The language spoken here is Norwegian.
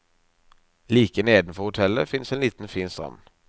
Like nedenfor hotellet finnes en liten fin strand.